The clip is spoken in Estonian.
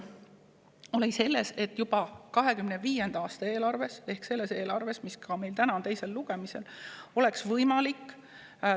Praegu seisnes valik selles, kas võiks muuta juba 2025. aasta eelarvet – seda, mis on meil täna teisel lugemisel – detailsemaks.